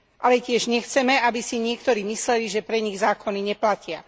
Ale tiež nechceme, aby si niektorí mysleli, že pre nich zákony neplatia.